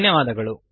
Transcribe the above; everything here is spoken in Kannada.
ಧನ್ಯವಾದಗಳು